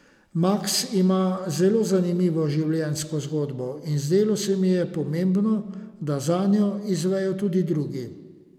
Maks ima zelo zanimivo življenjsko zgodbo in zdelo se mi je pomembno, da zanjo izvejo tudi drugi.